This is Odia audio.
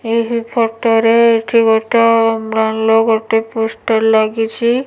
ଏହି ଫଟ ରେ ଏଠି ଗୋଟେ ଭଲ ଗୋଟି ପୋଷ୍ଟର ଲାଗିଛି।